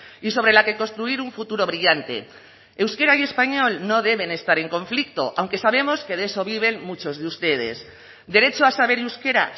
y sobre la que construir un futuro brillante euskera y español no deben estar en conflicto aunque sabemos que de eso viven muchos de ustedes derecho a saber euskera